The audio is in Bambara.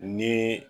Ni